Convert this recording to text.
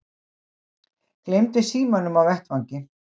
Gleymdi símanum á vettvangi